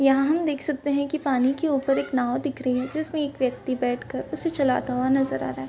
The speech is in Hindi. यहाँ हम देख सकते है की पानी की ऊपर एक नाँव दिख रही है। जिसमे एक व्यक्ति बैठ कर उसे चालता हुआ नजर आ रहा है।